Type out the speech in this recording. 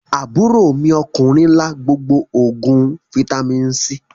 Aburo mi okunrin la gbogbo oguin Fítàmì C.